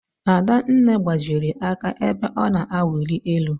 Adanne gbajiri aka ebe ọ na-awuli elu.